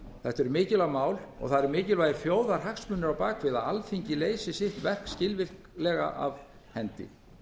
þetta eru mikilvæg mál og það eru mikilvægir þjóðarhagsmunir á bak við það að alþingi leysi sitt verk skilvirknislega af hendi